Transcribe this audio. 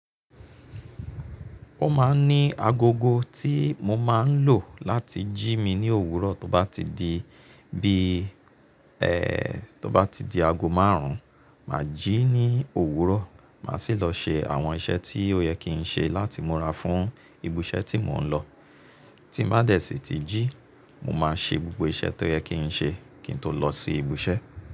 Ó máa ń ní agogo tí mo máa ń lò láti jí mi ní òwúrọ̀ tó bá ti di, bíi ẹ, tó bá ti di ago márùn-ún, mà á jí ní òwúrọ̀, mà á sì lọ ṣe àwọn iṣẹ́ tí ó yẹ kí n ṣe láti múra fún ibiṣẹ́ tí mò ń lọ. Tí n bá dẹ̀ sí ti jí, mo máa ṣe gbogbo iṣẹ́ tó yẹ kí n ṣe kí n tó lọ sí ibùṣẹ́.